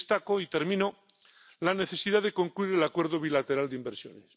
Y destaco —y termino— la necesidad de concluir el acuerdo bilateral de inversiones.